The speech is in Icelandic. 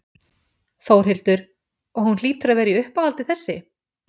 Þórhildur: Og hún hlýtur að vera í uppáhaldi þessi?